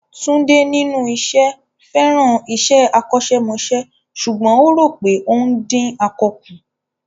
Tunde, nínú iṣẹ́, fẹ́ràn iṣẹ́ akọ́ṣẹ́mọṣẹ́ ṣùgbọ́n ó rò pé ó ń dín akọ kù.